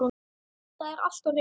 Það er allt á hreinu